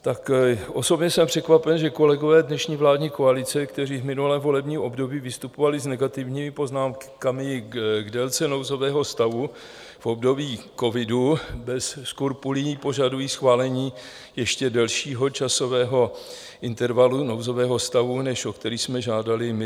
Tak osobně jsem překvapen, že kolegové dnešní vládní koalice, kteří v minulém volebním období vystupovali s negativními poznámkami k délce nouzového stavu v období covidu, bez skrupulí požadují schválení ještě delšího časového intervalu nouzového stavu, než o který jsme žádali my.